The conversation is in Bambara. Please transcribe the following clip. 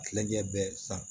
Kilencɛ bɛɛ san